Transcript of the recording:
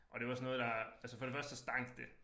Og det var sådan noget der altså for det første så stank det